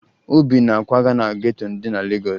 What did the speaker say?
Obi na-akwaga na geto dị na Legọọsụ